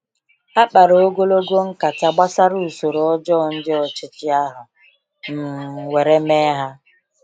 Ha kpara ogologo nkata gbasara usoro ọjọọ ndị ọchịchị ahụ um were mee ha.